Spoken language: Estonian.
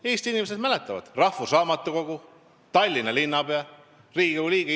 Eesti inimesed mäletavad: rahvusraamatukogu direktor, Tallinna linnapea, Riigikogu liige.